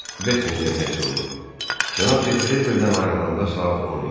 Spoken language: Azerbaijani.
Buckingham Hersoğu cənab de Treville-dən ayrılanda saat 10 idi.